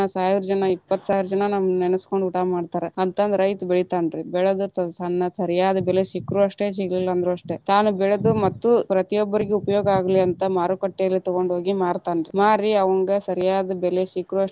ಸಾವಿರ ಜನಾ ಇಪ್ಪತ್ತ ಸಾವಿರಾ ಜನಾ ನಮ್ಮನ್ನ ನೆನಸ್ಕೊಂಡ ಊಟಾ ಮಾಡ್ತಾರ, ಅಂತಂದ ರೈತ ಬೆಳಿತಾನ ರೀ ಬೆಳದ ತನ್ನ ಸರಿಯಾದ ಬೆಲೆ ಸಿಕ್ರು ಅಷ್ಟೆ ಸಿಗ್ಲಿಲ್ಲ ಅಂದ್ರು ಅಷ್ಟೆ ತಾನ ಬೆಳೆದ ಮತ್ತು ಪ್ರತಿಒಬ್ಬರಿಗೂ ಉಪಯೋಗ ಆಗ್ಲಿ ಅಂತ ಮಾರುಕಟ್ಟೆಲ್ಲಿ ತಗೊಂಡ ಹೊಗಿ ಮಾರತಾನ, ಮಾರಿ ಅವಂಗ ಸರಿಯಾದ ಬೆಲೆ ಸಿಕ್ರು ಅಷ್ಟೆ.